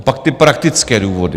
A pak ty praktické důvody.